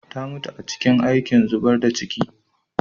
Ta mutu a cikin aikin zubar da ciki.